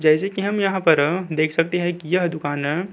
जैसे की हम यहाँ पर देख सकते है कि यह दुकानअ --